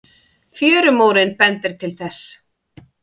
Fjörumórinn bendir til